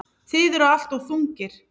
Þið eruð alltof þungir.